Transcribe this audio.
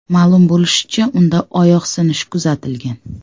Ma’lum bo‘lishicha, unda oyoq sinishi kuzatilgan.